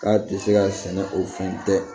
K'a tɛ se ka sɛnɛ o fɛn tɛ